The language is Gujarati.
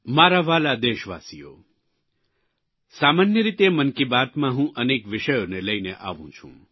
મારા વ્હાલા દેશવાસીઓ સામાન્ય રીતે મન કી બાતમાં હું અનેક વિષયોને લઇને આવું છું